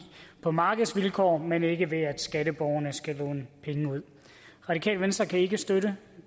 på markedsvilkår men ikke ved at skatteborgerne skal låne penge ud radikale venstre kan ikke støtte